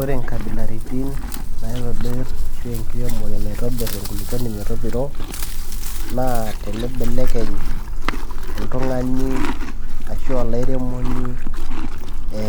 Ore inkabilaritin naitobir ashu enkiremore naitobir enkulukuoni metopiro naa teneibelekeny oltung'ani ashu olairemoni